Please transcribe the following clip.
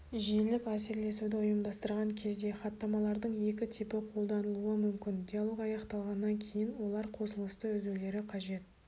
желілік әсерлесуді ұйымдастырған кезде хаттамалардың екі типі қолданылуы мүмкін диалог аяқталғаннан кейін олар қосылысты үзулері қажет